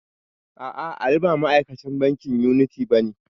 A'a, Ali ba ma'akacin bankin yuniti bane.